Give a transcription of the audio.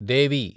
దేవి